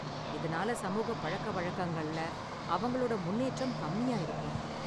இதனால சமூகப் பழக்கவழக்கங்கள்ல அவங்களோட முன்னேற்றம் கம்மியா இருக்கும்